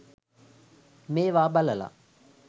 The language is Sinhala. මේවා බලලා